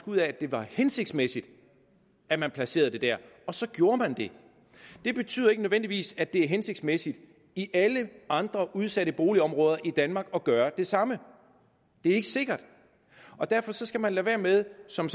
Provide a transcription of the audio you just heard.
ud af at det var hensigtsmæssigt at man placerede det der og så gjorde man det det betyder ikke nødvendigvis at det er hensigtsmæssigt i alle andre udsatte boligområder i danmark at gøre det samme det er ikke sikkert derfor skal man lade være med som